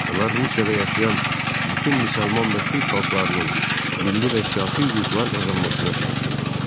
Onlar Rusiyada yaşayan bütün müsəlman və türk xalqlarının milli və siyasi hüquqlar qazanmasına çalışırdılar.